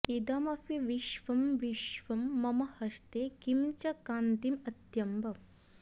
इदमपि विश्वं विश्वं मम हस्ते किं च कान्तिमत्यम्ब